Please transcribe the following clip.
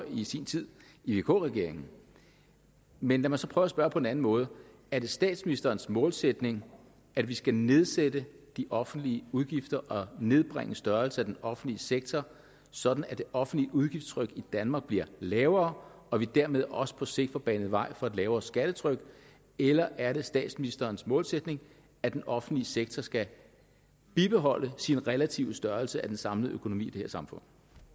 i sin tid i vk regeringen men lad mig så prøve at spørge på en anden måde er det statsministerens målsætning at vi skal nedsætte de offentlige udgifter og nedbringe størrelsen af den offentlige sektor sådan at det offentlige udgiftstryk i danmark bliver lavere og vi dermed også på sigt får banet vejen for et lavere skattetryk eller er det statsministerens målsætning at den offentlige sektor skal bibeholde sin relative størrelse af den samlede økonomi i det her samfund